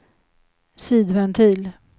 sidventil